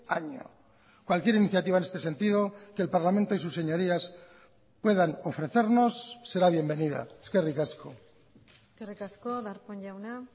año cualquier iniciativa en este sentido que el parlamento y sus señorías puedan ofrecernos será bienvenida eskerrik asko eskerrik asko darpón jauna